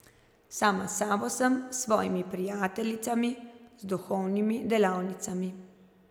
Sama s sabo sem, s svojimi prijateljicami, z duhovnimi delavnicami.